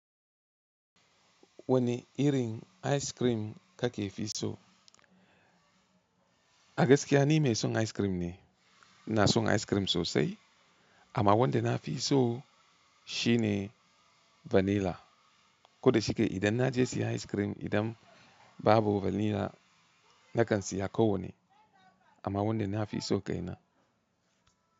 Wani irin ice cream ka ke fi so? A gaskiya nime son ice cream ne, ina son ice cream sosai amma wanda na fi so shine vanilla. Koda shike idan na je siyan ice cream idan babu vanilla na kan siya ko wani, amma wanda na fi so kai na.